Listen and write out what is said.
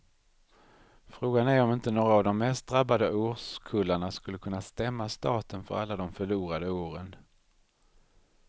Frågan är om inte några av de mest drabbade årskullarna skulle kunna stämma staten för alla de förlorade åren.